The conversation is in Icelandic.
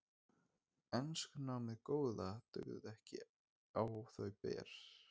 Enskunámið góða dugði ekki á þau ber.